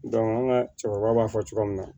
an ka cɛkɔrɔba b'a fɔ cogo min na